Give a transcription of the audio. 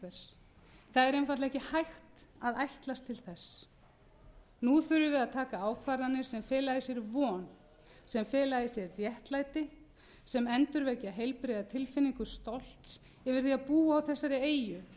það er einfaldlega ekki hægt að ætlast til þess nú þurfum við að taka ákvarðanir sem fela í sér von sem fela í sér réttlæti sem endurvekja heilbrigða tilfinningu stolts yfir því að búa á þessari eyju